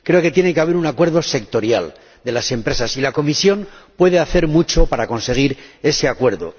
Creo que tiene que haber un acuerdo sectorial de las empresas, y la Comisión puede hacer mucho para conseguir ese acuerdo.